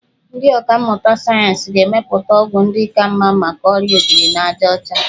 Ndị ọkàmmụta sayensị ga-emepụta ọgwụ ndị ka mma maka ọrịa obirinajaọcha.